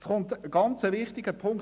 Es folgt ein wichtiger Punkt: